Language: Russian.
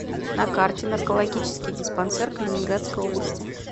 на карте наркологический диспансер калининградской области